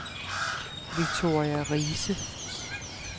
Victoria Riise